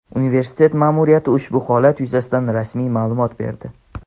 Universitet ma’muriyati ushbu holat yuzasidan rasmiy ma’lumot berdi.